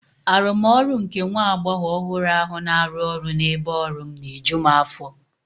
Arụmọrụ nke nwa agbọghọ ọhụrụ ahụ na-arụ ọrụ n'ebe ọrụ m na-eju m afọ.